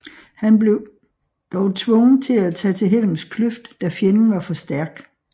Han blev dog tvunget til at tage til Helms kløft da fjenden var for stærk